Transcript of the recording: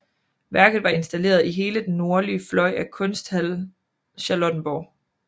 Værket var installeret i hele den nordlige fløj af Kunsthal Charlottenborg